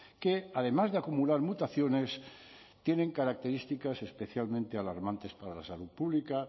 que además de acumular mutaciones tienen características especialmente alarmantes para la salud pública